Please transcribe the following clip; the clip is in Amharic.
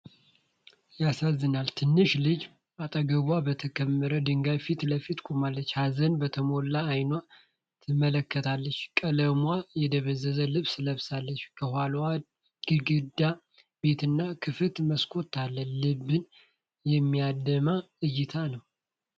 ያሳዝናል! ትንሿ ልጅ አጠገቧ በተከመሩ ድንጋዮች ፊት ለፊት ቆማለች። ሀዘን በተሞላበት አይን ትመለከታለች። ቀለሟ የደበዘዘ ልብስ ለብሳለች። ከኋላ ግድግዳ ቤትና ክፍት መስኮት አለ። ልብን የሚያደማ እይታ ነው!